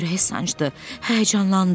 Ürəyi sancdı, həyəcanlandı.